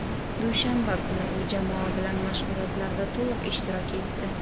Dushanba kuni u jamoa bilan mashg‘ulotlarda to‘liq ishtirok etdi.